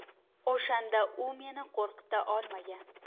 O‘shanda u meni qo‘rqita olmagan.